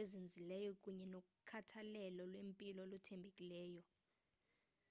ezinzileyo kunye nokhathalelo lwempilo oluthembekileyo